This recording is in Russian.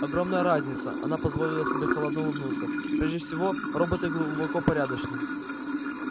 огромная разница она позволила себе холодно улыбнуться прежде всего роботы глубоко порядочны